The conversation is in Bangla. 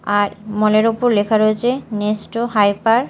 আর মল -এর ওপর লেখা রয়েছে নেস্টো হাইপার ।